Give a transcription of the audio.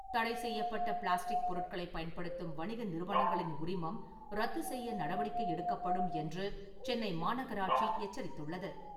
தடை செய்யப்பட்ட பிளாஸ்டிக் பொருட்களை பயன்படுத்தும் வணிக நிறுவனங்களின் உரிமம் ரத்து செய்ய நடவடிக்கை எடுக்கப்படும் என்று சென்னை மாநகராட்சி எச்சரித்துள்ளது.